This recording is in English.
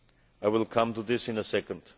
I will come to this in a second.